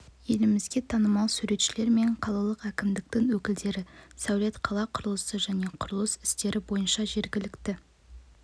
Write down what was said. елімізге танымал сәулетшілер мен қалалық әкімдіктің өкілдері сәулет қала құрылысы және құрылыс істері бойынша жергілікті